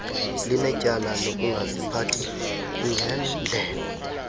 linetyala lokungaziphathi ngenndlela